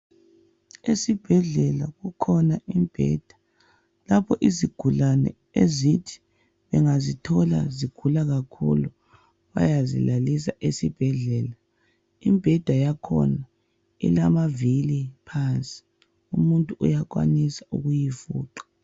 Esibhedlela kukhona imibheda lapho izigulane ezithi bengazithola zigula kakhulu bayazilalisa esibhedlela. Imibheda yakhona ilamavili phansi, umuntu uyakwanisa ukuyifuqa.